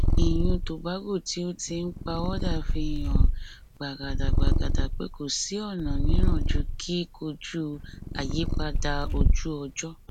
ìyún tobago tí ó ti ń pawọdà fi hàn gbàgàdàgbàgàdà pé kò sí ọnà mìíràn ju kíkojú àyípadà ojúọjọ